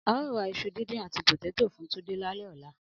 Ao ra iṣu dindin ati poteto fun Tunde lalẹ ọla